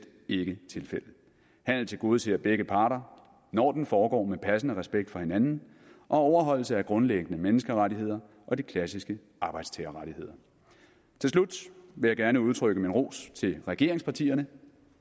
ikke tilfældet handel tilgodeser begge parter når den foregår med passende respekt for hinanden og overholdelse af grundlæggende menneskerettigheder og de klassiske arbejdstagerrettigheder til slut vil jeg gerne udtrykke min ros til regeringspartierne